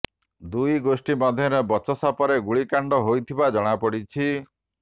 ଦୁଇ ଗୋଷ୍ଠୀ ମଧ୍ୟରେ ବଚସା ପରେ ଗୁଳିକାଣ୍ଡ ହୋଇଥିବା ଜଣାପଡିଛି